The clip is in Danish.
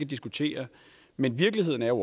diskutere men virkeligheden er jo